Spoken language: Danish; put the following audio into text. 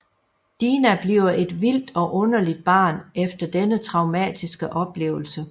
Dina bliver et vildt og underligt barn efter denne traumatiske oplevelse